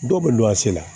Dɔw bɛ don a se la